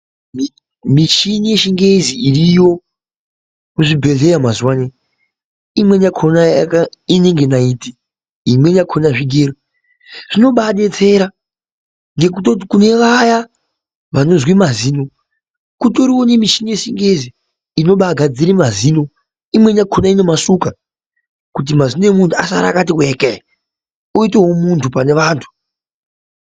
Michini yechingezi iriyo kuzvibhedhleya mazuwa anaa imweni yakhona inenge naiti imweni yakhona zvigero zvinobaadetsera ngekutoti kune vaya vanozwe mazino kutoriwo nemichini yechingezi inobaagadzire mazino imweni yakhona inomasuka kuti mazino emunthu asare akati wekee uitewo munthu pane vanthu.